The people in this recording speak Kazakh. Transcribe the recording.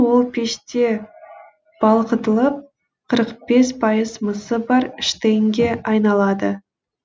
ол пеште балқытылып қырық бес пайыз мысы бар штейнге айналады